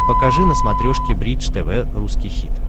покажи на смотрешке бридж тв русский хит